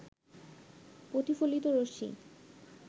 প্রতিফলিত রশ্মি